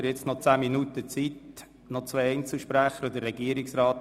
Es bleiben noch zehn Minuten Redezeit für zwei Einzelsprecher und den Regierungsrat.